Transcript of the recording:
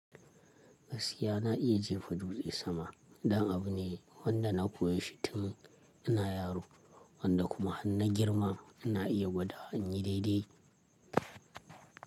Gaskiya na iya jefa dutse sama. Dan abu ne wanda na koyi shi tun ina yaro wanda kuma har na girma na iya gwada in yi daidai.